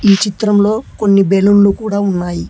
ఈ చిత్రంలో కొన్ని బెలూన్లు కూడా ఉన్నాయి.